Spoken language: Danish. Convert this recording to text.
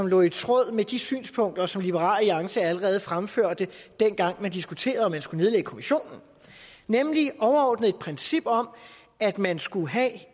lå i tråd med de synspunkter som liberal alliance allerede fremførte dengang man diskuterede om man skulle nedlægge kommissionen nemlig et overordnet princip om at man skulle have